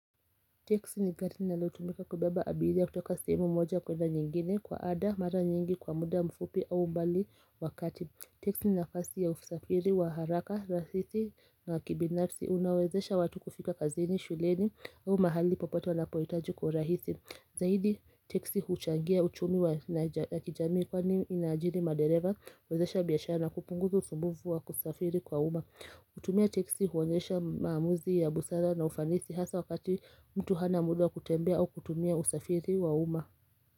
Teksi ni gari linalotumika kubeba abiriya kutoka sehemu moja kwenda nyingine kwa ada mara nyingi kwa muda mfupi au mbali wakati teksi ni nafasi ya usafiri wa haraka raisi na kibinafsi unawezesha watu kufika kazini, shuleni au mahali popote wanapoyitaji kwa urahisi zaidi teksi huchangia uchumi ya kijami kwa ni inajiri madereva uwezesha biyashara na kupunguza usumbufu wa kusafiri kwa uma kutumia teksi huonesha maamuzi ya busara na ufanisi hasa wakati mtu hana muda kutembea au kutumia usafiri wa uma.